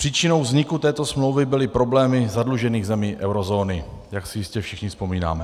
Příčinou vzniku této smlouvy byly problémy zadlužených zemí eurozóny, jak si jistě všichni vzpomínáme.